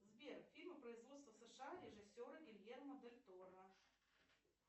сбер фильмы производства сша режисера гильермо дель торо